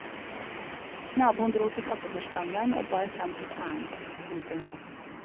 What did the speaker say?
Naboen drog til fattigforstanderen og bar fram sitt ærend. punktum